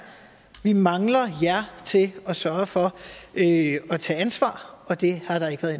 vi mangler jer til at sørge for at tage ansvar og det har der ikke været